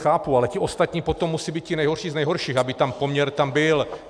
Chápu, ale ti ostatní potom musí být ti nejhorší z nejhorších, aby ten poměr tam byl.